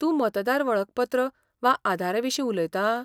तूं मतदार वळखपत्र वा आधारा विशीं उलयतां?